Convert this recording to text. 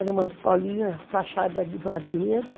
Era uma escolinha, fachada de madeira.